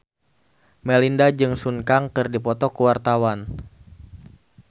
Melinda jeung Sun Kang keur dipoto ku wartawan